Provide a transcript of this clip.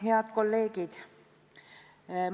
Head kolleegid!